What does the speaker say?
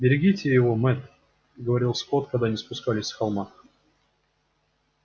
берегите его мэтт говорил скотт когда они спускались с холма